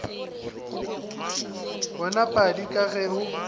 wena padi ka ge o